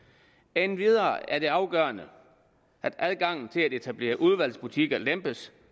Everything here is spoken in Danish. endvidere er det afgørende at adgangen til at etablere udvalgsvarebutikker lempes